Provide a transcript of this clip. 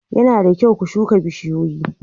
Yana da kyau ku shuka bishiyoyi.